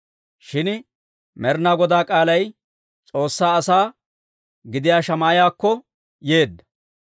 Shin Med'inaa Godaa k'aalay S'oossaa asaa gidiyaa Shamaa'iyaakko yeedda;